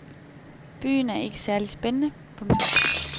Byen er ikke særlig spændende. punktum